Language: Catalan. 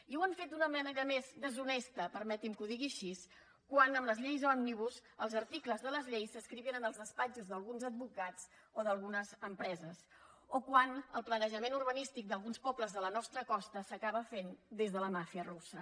i ho han fet d’una manera més deshonesta permetin me que ho digui així quan amb les lleis òmnibus els articles de les lleis s’escrivien en els despatxos d’alguns advocats o d’algunes empreses o quan el planejament urbanístic d’alguns pobles de la nostra costa s’acaba fent des de la màfia russa